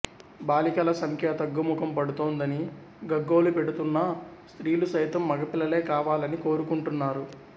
బాలికల సంఖ్య తగ్గుముఖం పడుతోందని గగ్గోలు పెడుతున్నా స్ర్తీలు సైతం మగపిల్లలే కావాలని కోరుకుంటున్నారు